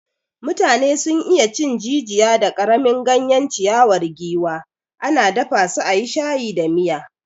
Mutane sun iya cin jijiya da karamin ganyen ciyawar giwa, ana dafa su a yi shayi da miya.